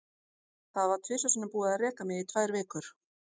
Það var tvisvar sinnum búið að reka mig í tvær vikur.